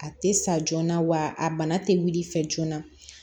A tɛ sa joona wa a bana tɛ wuli fɛ joona